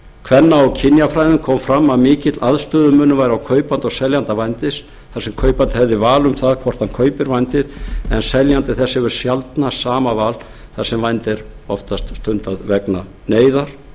kvenna og kynjafræðum kom fram að mikill aðstöðumunur væri á kaupanda og seljanda vændis þar sem kaupandi hefði val um það hvort hann kaupir vændið en seljandi þess hefur sjaldnast sama val þar sem vændi væri oftast stundað vegna neyðar